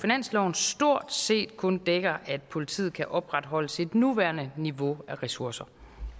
stort set kun dækker at politiet kan opretholde sit nuværende niveau af ressourcer